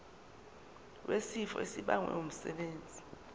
wesifo esibagwe ngumsebenzi